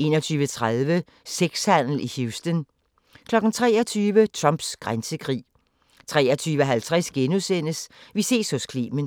21:30: Sexhandel i Houston 23:00: Trumps grænsekrig 23:50: Vi ses hos Clement *